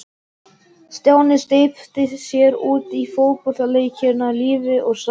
Stjáni steypti sér út í fótboltaleikinn af lífi og sál.